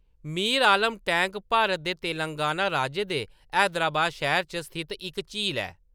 मीर Alam tank Bharat दे तेलंगाना राज्य दे हैदराबाद शैह्‌र च स्थित इक झील ऐ।